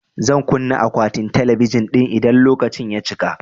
Zan kunna akwatin talabijin ɗin idan lokaci ya cika